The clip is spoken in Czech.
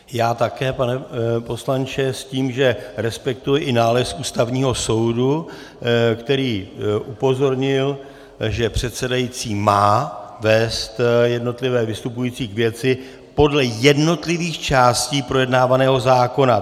Já také, pane poslanče, s tím, že respektuji i nález Ústavního soudu, který upozornil, že předsedající má vést jednotlivé vystupující k věci podle jednotlivých částí projednávaného zákona.